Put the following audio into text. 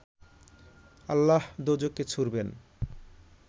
আল্লাহ দোযখে ছুঁড়বেন